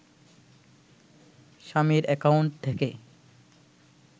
স্বামীর অ্যাকাউন্ট থেকে